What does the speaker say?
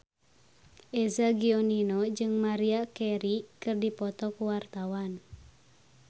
Eza Gionino jeung Maria Carey keur dipoto ku wartawan